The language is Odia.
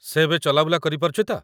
ସେ ଏବେ ଚଲାବୁଲା କରିପାରୁଛି ତ?